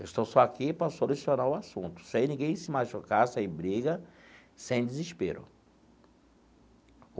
Estou só aqui para solucionar o assunto, sem ninguém se machucar, sem briga, sem desespero.